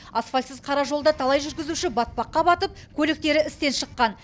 асфальтсыз қара жолда талай жүргізуші батпаққа батып көліктері істен шыққан